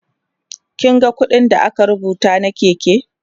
kin ga ƙuɗin da aka rubuta na Keke?